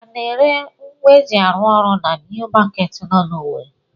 A na-ere ngwa eji arụ ụlọ na New Market nọ na Owere?